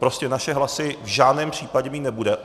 Prostě naše hlasy v žádném případě mít nebude.